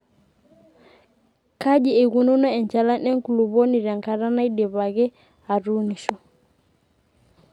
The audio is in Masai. Kaji eikununo enchalan enkulupuoni te nkata naidipaki aatunisho.